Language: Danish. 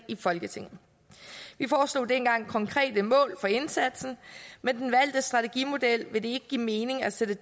i folketinget vi foreslog dengang konkrete mål for indsatsen med den valgte strategimodel vil det ikke give mening at sætte